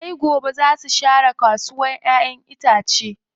Sai gobe zaa su share kasuwa ƴaƴen itace.